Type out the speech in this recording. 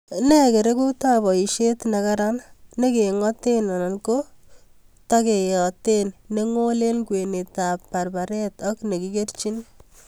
Ne bkerekuutap boisiet negaran ne king'aateen anan ko tekeyyaatap neng'ool eng' kwenetap barbaret ak negigerchiin